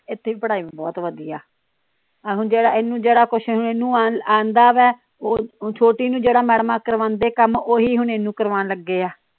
ਇਥੇ ਵੀ ਪੜਾਈ ਬਹੁਤ ਵਧੀਆ ਆਹੋ ਜਿਹੜਾ ਇਹਨੂੰ ਜਿਹੜਾ ਕੁਝ ਇਹਨੂੰ ਆਂਦਾ ਵੇ ਉਹ ਛੋਟੀ ਨੂੰ ਜਿਹੜਾ ਮੈਡਮਾਂ ਕਰਵਾਂਦੇ ਕੰਮ ਓਹੀ ਹੁਣ ਇਹਨੂੰ ਕਰਵਾਨ ਲਗੇ ਆ।